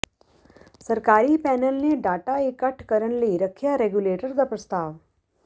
ਸਰਕਾਰੀ ਪੈਨਲ ਨੇ ਡਾਟਾ ਇਕੱਠ ਕਰਨ ਲਈ ਰੱਖਿਆ ਰੈਗੂਲੇਟਰ ਦਾ ਪ੍ਰਸਤਾਵ